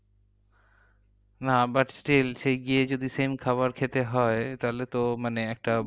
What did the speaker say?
না but still সেই গিয়ে যদি same খাবার খেতে হয় তাহলে তো মানে একটা